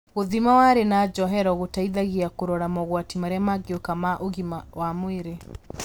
Gũthima wariĩ wa njohero gũteithagia kũrora mogwati marĩa mangĩũka ma ũgima wa mwĩrĩ